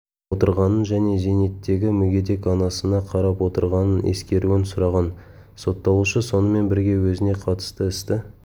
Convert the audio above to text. отырғанын және зейнеттегі мүгедек анасына қарап отырғанын ескеруін сұраған сотталушы сонымен бірге өзіне қатысты істі